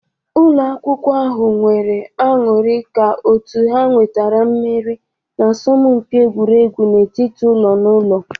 Ụlọ akwụkwọ ahụ nwere aṅụrị ka otu ha nwetara mmeri n'asọmpi egwuregwu n'etiti ụlọ naụlọ.